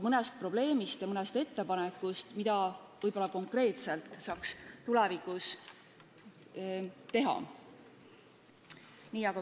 Mõnest probleemist ja ettepanekust, mida võib-olla saaks konkreetselt tulevikus teha.